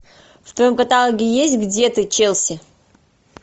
в твоем каталоге есть где ты челси